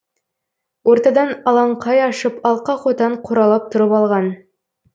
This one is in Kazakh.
ортадан алаңқай ашып алқа қотан қоралап тұрып алған